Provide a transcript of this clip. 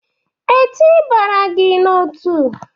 E tị bara gị n'otu?